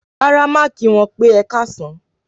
Rárá má kí wọn pè ẹkasan.